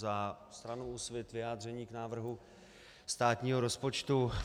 Za stranu Úsvit vyjádření k návrhu státního rozpočtu.